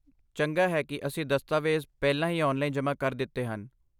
ਚੰਗਾ ਹੈ ਕਿ ਅਸੀਂ ਦਸਤਾਵੇਜ਼ ਪਹਿਲਾਂ ਹੀ ਆਨਲਾਈਨ ਜਮ੍ਹਾ ਕਰ ਦਿੱਤੇ ਹਨ।